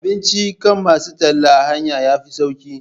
Abincin kan masu talla a hanya yafi sauƙi